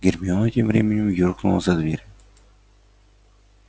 гермиона тем временем юркнула за дверь